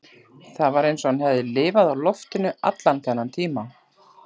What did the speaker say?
Það var eins og hann hefði lifað á loftinu allan þennan tíma